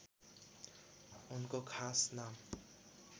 उनको खास नाम